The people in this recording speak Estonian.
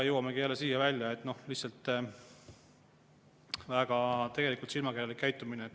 Jõuamegi jälle siia välja, et tegelikult on see väga silmakirjalik käitumine.